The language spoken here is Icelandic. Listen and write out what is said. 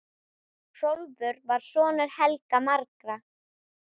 Hrólfur var sonur Helga magra.